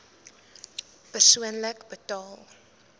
persoonlik betaal